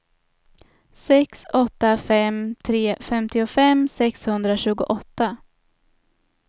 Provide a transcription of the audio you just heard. sex åtta fem tre femtiofem sexhundratjugoåtta